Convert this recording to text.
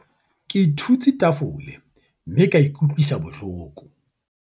ke thutse tafole mme ka ikutlwisa bohloko